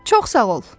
Çox sağ ol.